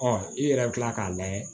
i yɛrɛ bi kila k'a layɛ